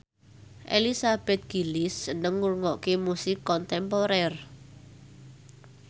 Elizabeth Gillies seneng ngrungokne musik kontemporer